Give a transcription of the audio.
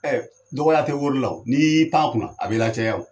dɔgɔya tɛ wori la o ni y'i pan a kun na a b'i lacaya o.